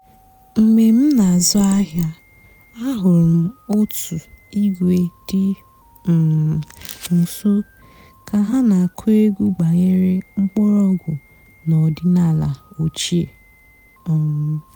mg̀bé m nà-àzụ́ àhị́á àhụ́rụ́ m ótú ìgwé dị́ um ǹso kà há nà-àkụ́ ègwú gbànyèré m̀kpọ́rọ̀gwú n'ọ̀dị́náàlà òchíé. um